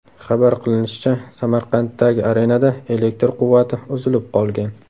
Xabar qilinishicha, Samarqanddagi arenada elektr quvvati uzilib qolgan.